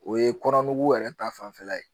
O ye kɔnɔ nugu yɛrɛ ta fanfɛla ye